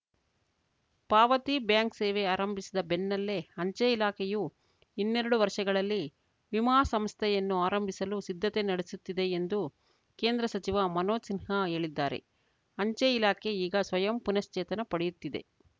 ಪಾವತಿ ಬ್ಯಾಂಕ್‌ ಸೇವೆ ಆರಂಭಿಸಿದ ಬೆನ್ನಲ್ಲೇ ಅಂಚೆ ಇಲಾಖೆಯು ಇನ್ನೆರಡು ವರ್ಷಗಳಲ್ಲಿ ವಿಮಾ ಸಂಸ್ಥೆಯನ್ನೂ ಆರಂಭಿಸಲು ಸಿದ್ಧತೆ ನಡೆಸುತ್ತಿದೆ ಎಂದು ಕೇಂದ್ರ ಸಚಿವ ಮನೋಜ್‌ ಸಿನ್ಹಾ ಹೇಳಿದ್ದಾರೆ ಅಂಚೆ ಇಲಾಖೆ ಈಗ ಸ್ವಯಂ ಪುನಶ್ಚೇತನ ಪಡೆಯುತ್ತಿದೆ